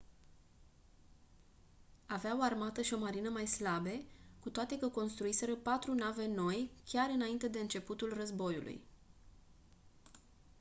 avea o armată și o marină mai slabe cu toate că construiseră patru nave noi chiar înainte de începutul războiului